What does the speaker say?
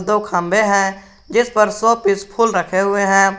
दो खंबे हैं जिसप पर शो पीस फुल रखे हुए हैं।